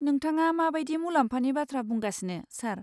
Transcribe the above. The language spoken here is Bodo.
नोंथाङा मा बायदि मुलाम्फानि बाथ्रा बुंगासिनो, सार?